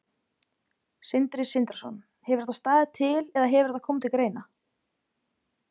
Sindri Sindrason: Hefur þetta staðið til eða hefur þetta komið til greina?